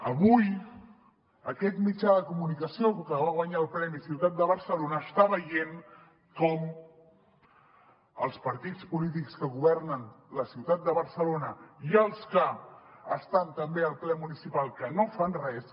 avui aquest mitjà de comunicació que va guanyar el premi ciutat de barcelona està veient com els partits polítics que governen la ciutat de barcelona i els que estan també al ple municipal que no fan res